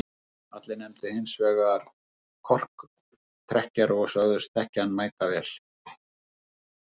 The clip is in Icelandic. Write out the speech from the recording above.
Allir nefndu hins vegar korktrekkjara og sögðust þekkja hann mætavel.